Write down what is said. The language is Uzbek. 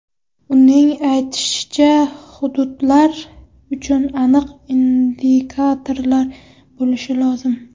Uning aytishicha, hududlar uchun aniq indikatorlar bo‘lishi lozim.